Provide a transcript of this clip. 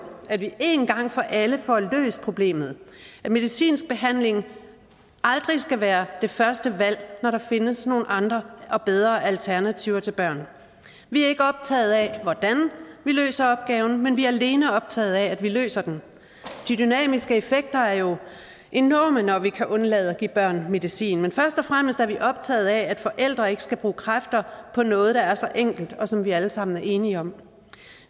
at vi én gang for alle får løst problemet at medicinsk behandling aldrig skal være det første valg når der findes nogle andre og bedre alternativer til børn vi er ikke optaget af hvordan vi løser opgaven men vi er alene optaget af at vi løser den de dynamiske effekter er jo enorme når vi kan undlade at give børn medicin men først og fremmest er vi optaget af at forældre ikke skal bruge kræfter på noget der er så enkelt og som vi alle sammen er enige om